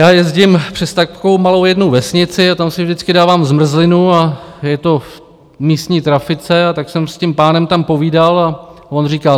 Já jezdím přes takovou jednu malou vesnici a tam si vždycky dávám zmrzlinu a je to v místní trafice, a tak jsem s tím pánem tam povídal a on říkal: